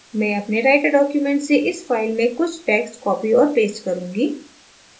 मैं अपने writer document से इस फाइल में कुछ text copy और paste करुँगी